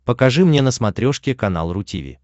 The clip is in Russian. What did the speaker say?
покажи мне на смотрешке канал ру ти ви